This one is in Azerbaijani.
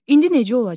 İndi necə olacaq?